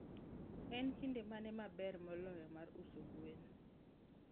En kinde mane maber moloyo mar uso gwen?